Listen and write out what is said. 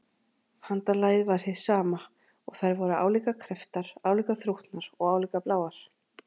Handarlagið var hið sama, og þær voru álíka krepptar, álíka þrútnar og álíka bláar.